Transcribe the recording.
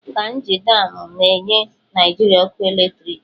Kainji damụ na-enye Naịjirịa ọkụ eletriki.